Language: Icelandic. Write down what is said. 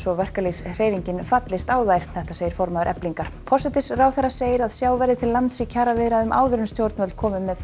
verkalýðshreyfingin fallist á þær segir formaður Eflingar forsætisráðherra segir að sjá verði til lands í kjaraviðræðum áður en stjórnvöld komi með